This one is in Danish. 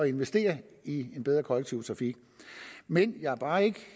investere i en bedre kollektiv trafik men jeg er bare ikke